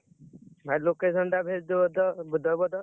ଭାଇ location ଟା Hindi ଦବ ତ, ଦବ ତ।